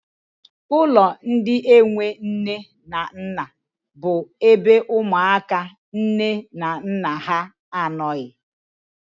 Ụlọ ndị enwe nne na nna bụ ebe ụmụaka nne na nna ha anọghị.